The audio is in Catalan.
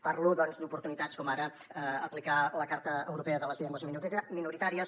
parlo doncs d’oportunitats com ara aplicar la carta europea de les llengües minoritàries